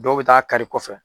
Dɔw bɛ taa kari i kɔfɛ.